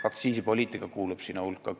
Aktsiisipoliitika kuulub selle kõige hulka.